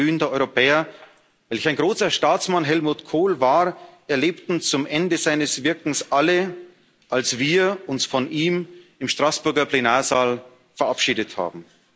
Welch ein glühender Europäer, welch ein großer Staatsmann Helmut Kohl war, erlebten zum Ende seines Wirkens alle, als wir uns von ihm im Straßburger Plenarsaal verabschiedet haben.